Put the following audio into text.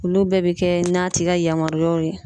Olu bɛɛ bɛ kɛ n'a tigi ka yamaruyaw ye